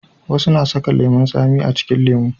wasu na saka lemun tsami a cikin lemo